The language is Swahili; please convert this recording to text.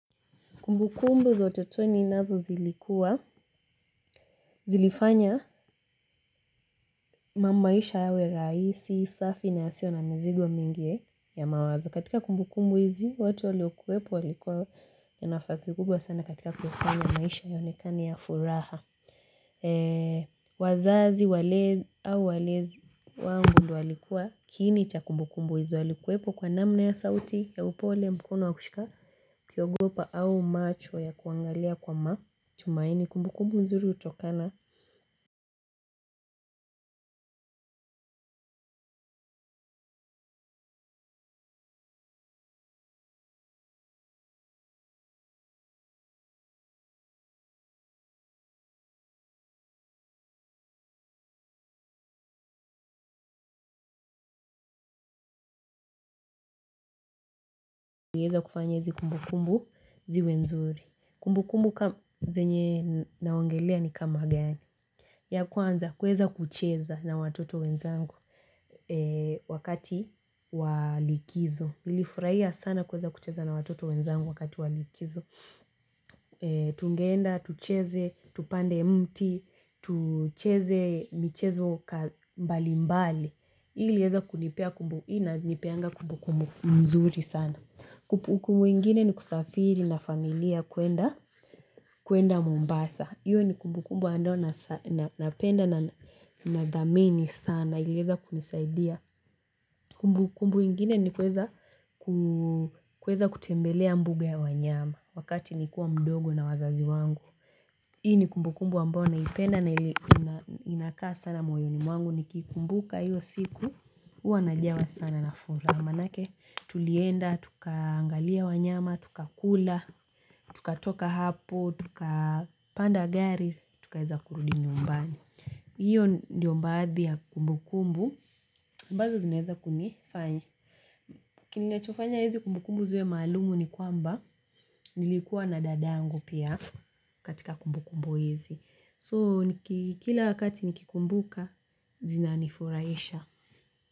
Kumbu kumbu za utotoni nazo zilikuwa, zilifanya maisha yawe rahisi, safi na yasio na mizigo mingi ya mawazo. Katika kumbu kumbu hizi, watu waliokuwepo walikuwa na nafasi kubwa sana katika kufanya maisha yaonekane ya furaha. Wazazi au walezi wangu walikuwa kiini cha kumbu kumbu hizo walikuwepo kwa namna ya sauti ya upole mkono wa kushika kiogopa au macho ya kuangalia kwa matumaini kumbu kumbu nzuri utokana ieze kufanya hizi kumbu kumbu ziwe nzuri kumbu kumbu zenye naongelea ni kama gani. Ya kwanza kueza kucheza na watoto wenzangu wakati wa likizo. Ilifurahia sana kueza kucheza na watoto wenzangu wakati wa likizo. Tungeenda, tucheze, tupande mti, tucheze, michezo mbali mbali. Hii ilieza kunipea kumbu, hii na nipeanga kumbu kumbu mzuri sana. Kumbu ingine ni kusafiri na familia kuenda mombasa. Hiyo ni kumbu kumbu ambayo napenda na dhamini sana ilieza kunisaidia. Kumbu kumbu ingine ni kuweza kutembelea mbuga ya wanyama wakati ni kuwa mdogo na wazazi wangu hii ni kumbu kumbu ambao naipenda na inakaa sana moyoni mwangu nikiikumbuka hiyo siku huwa najawa sana na furaha maanake tulienda, tuka angalia wanyama, tuka kula, tuka toka hapo, tuka panda gari tukaeza kurudi nyumbani hiyo ndio baadhi ya kumbu kumbu ambazo zinaeza kunifanya kinachofanya hizi kumbu kumbu ziwe maalum ni kwamba nilikuwa na dadangu pia katika kumbu kumbu hizi so kila wakati nikikumbuka zina ni furahisha.